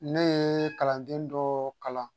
Ne ye kalanden dɔ kalan